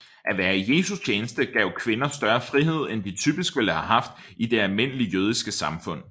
At være i Jesu tjeneste gav kvinder større frihed end de typisk ville have haft i det almindelige jødiske samfund